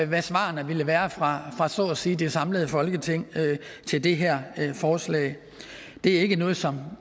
hvad svarene ville være fra så at sige det samlede folketing til det her forslag det er ikke noget som